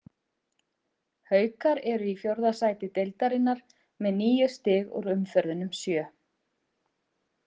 Haukar eru í fjórða sæti deildarinnar með níu stig úr umferðunum sjö.